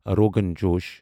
rogan josh